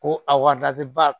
Ko a wati ba